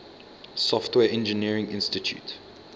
software engineering institute